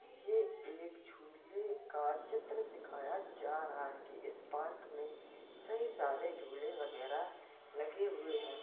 ये एक झूले का चित्र दिखाया जा रहा है कि इस पार्क में कई सारे झूले वगैरा लगे हुए हैं।